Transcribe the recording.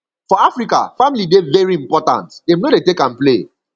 for africa family dey very important dem no dey take am play